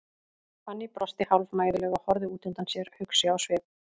Fanný brosti hálfmæðulega og horfði út undan sér, hugsi á svip.